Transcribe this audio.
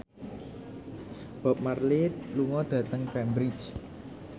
Bob Marley lunga dhateng Cambridge